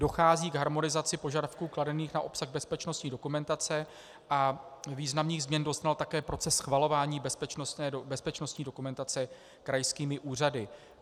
Dochází k harmonizaci požadavků kladených na obsah bezpečnostní dokumentace a významných změn doznal také proces schvalování bezpečnostní dokumentace krajskými úřady.